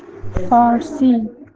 фарси